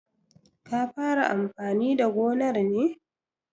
Ka fara amfani da gonar ne?